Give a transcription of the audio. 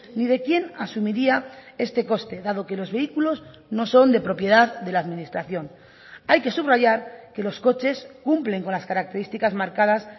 ni de quien asumiría este coste dado que los vehículos no son de propiedad de la administración hay que subrayar que los coches cumplen con las características marcadas